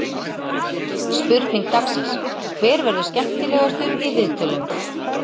Spurning dagsins: Hver verður skemmtilegastur í viðtölum?